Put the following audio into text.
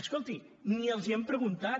escolti ni els ho han preguntat